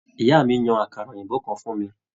Ìyá mí yan àkàrà òyìnbó kàn fún mí.